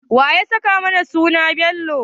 Wanene ya saka mana suna Bello?